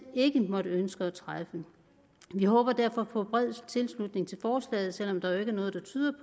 måtte ønske at træffe vi håber derfor på bred tilslutning til forslaget selv om der jo ikke er noget der tyder